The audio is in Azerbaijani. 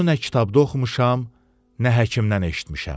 Bunu nə kitabda oxumuşam, nə həkimdən eşitmişəm.